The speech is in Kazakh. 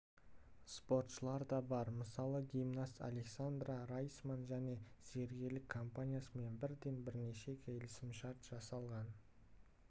спортшылар да бар мысалы гимнаст александра райсман және пен зергерлік компаниясымен бірден бірнеше келісімшарт жасаған